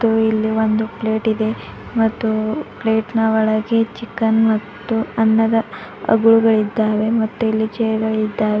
ಹಾಗೂ ಇಲ್ಲಿ ಒಂದು ಪ್ಲೇಟ್ ಇದೆ ಮತ್ತು ಪ್ಲೇಟ್ ನ ಒಳಗೆ ಚಿಕನ್ ಮತ್ತು ಅನ್ನದ ಅಗಲುಗಳಿದ್ದಾವೆ ಮತ್ತು ಇಲ್ಲಿ ಚೇರು ಗಳಿದ್ದಾವೆ.